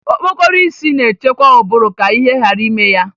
Okpokoro isi na-echekwa ụbụrụ ka ihe ghara ime ya